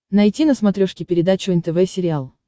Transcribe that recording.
найти на смотрешке передачу нтв сериал